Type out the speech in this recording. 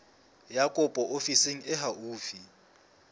ya kopo ofising e haufi